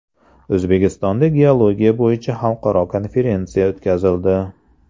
O‘zbekistonda geologiya bo‘yicha xalqaro konferensiya o‘tkazildi.